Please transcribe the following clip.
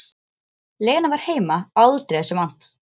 Lena var heima aldrei þessu vant.